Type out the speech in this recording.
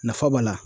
Nafa b'a la